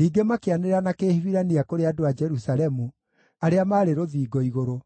Ningĩ makĩanĩrĩra na Kĩhibirania kũrĩ andũ a Jerusalemu arĩa maarĩ rũthingo igũrũ,